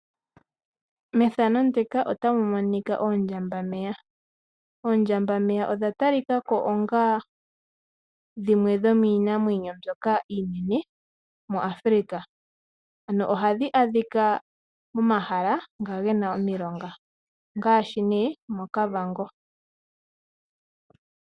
Methano ndika ota mu monika oondjambameya. Oondjambameya odha ta likako onga dhimwe dho miinamwenyo mbyoka iinene muAfrica. Ano ohadhika mo mahala nga gena omilonga ngaashe nee moKavango.